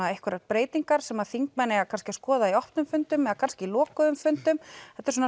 einhverjar breytingar sem þingmenn eiga kannski að skoða í opnum fundum eða kannski lokuðum fundum þetta er